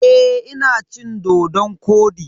Eh, ina cin dodon-kwodi.